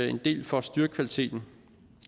en del for at styrke kvaliteten